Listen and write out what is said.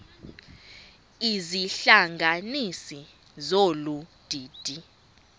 izihlanganisi zolu didi